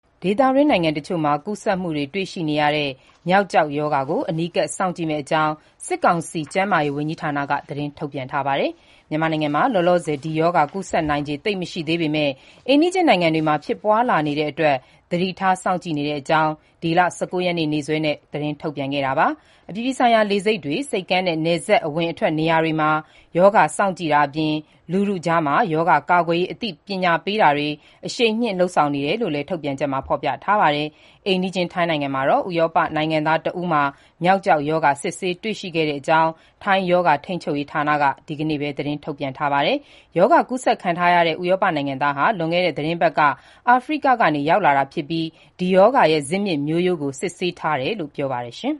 ဒေသတွင်း နိုင်ငံတချို့မှာ ကူးစက်မှုတွေ တွေ့ရှိနေတဲ့ မျောက်ကျောက်ရောဂါကို အနီးကပ် စောင့်ကြည့်မယ့်အကြောင်း စစ်ကောင်စီ ကျန်းမာရေးဝန်ကြီးဌာနက သတင်းထုတ်ပြန်လိုက်ပါတယ်။ မြန်မာနိုင်ငံမှာ လောလောဆယ် ဒီရောဂါ ကူးစက်နိုင်ချေ သိပ်မရှိသေးပေမဲ့ အိမ်နီးချင်းနိုင်ငံတွေမှာ ဖြစ်ပွား လာနေတာကြောင့် သတိထား စောင့်ကြည့်တာတွေသွားမယ့်အကြောင်း ဒီလ ၁၉ ရက်နေ့ နေ့စွဲနဲ့ ထုတ်ပြန်ခဲ့တာပါ။ အပြည်ပြည်ဆိုင်ရာ လေဆိပ်တွေ၊ ဆိပ်ကမ်းနဲ့ နယ်စပ် အဝင်အထွက် နေရာတွေမှာ ရောဂါ စောင့်ကြည့်တာအပြင် လူထုကြား ရောဂါ ကာကွယ်ရေး အသိပညာပေးတာတွေ အရှိန်မြှင့် လုပ်ဆောင်နေကြောင်း ထုတ်ပြန်ချက်မှာ ဖော်ပြပါတယ်။ အိမ်နီးချင်း ထိုင်းနိုင်ငံမှာတော့ ဥရောပနိုင်ငံသား တဦးမှာ မျောက်ကျောက်ရောဂါ စစ်ဆေး တွေ့ရှိခဲ့ကြောင်း ဒီကနေ့ ထိုင်းရောဂါ ထိန်းချုပ်ရေးဌာနက သတင်းထုတ်ပြန်ပါတယ်။ ရောဂါကူးစက်ခံထားရတဲ့ ဥရောပ နိုင်ငံသားဟာ လွန်ခဲ့တဲ့ သီတင်းပတ်က အာဖရိက ကနေ ရောက်လာတာ ဖြစ်ပြီး ဒီရောဂါရဲ့ ဇစ်မြစ် မျိုးရိုးကို စစ်ဆေးထားတယ်လို့ ပြောပါတယ်။